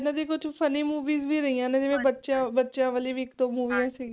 ਇਹਨਾ ਦੀ ਮਤਲਬ ਕੁਝ Funny Movies ਵੀ ਰਹਿਆ ਨੇ ਬਚਿਆ ਵਾਲੀ ਵੀ ਇਕ ਦੋ ਸਿਗੀਆ